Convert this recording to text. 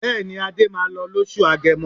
Bẹ́ẹ̀ni, Adé máa lọ lóṣù Agẹmọ.